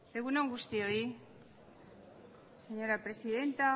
egun on guztioi señora presidenta